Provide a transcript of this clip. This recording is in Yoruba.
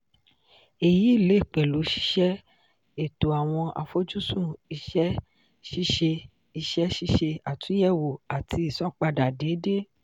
èyí lè pẹ̀lú ṣíṣe ètò awọn àfojúsùn iṣẹ́ ṣíṣe iṣẹ́ ṣíṣe àtúnyẹ̀wò àti ìsanpadà déédéé.